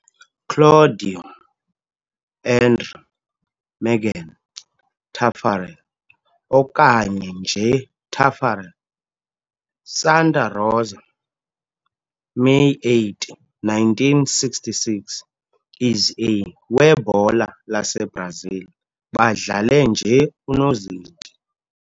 Claudio André Mergen Taffarel, okanye nje Taffarel, Santa Rosa, May 8, 1966, is a webhola laseBrazil badlale nje unozinti.